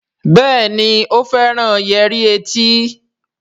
Béèni o féràn Yẹrí tí.